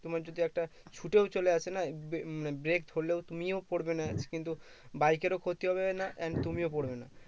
তোমার যদি একটা ছুটেও চলে আসে না break ধরলেও তুমিও পরবে না কিন্তু bike এর ও ক্ষতি হবে না and তুমিও পরবে না